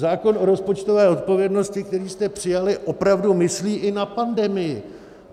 Zákon o rozpočtové odpovědnosti, který jste přijali opravdu myslí i na pandemii.